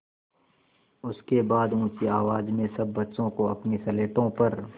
उसके बाद ऊँची आवाज़ में सब बच्चों को अपनी स्लेटों पर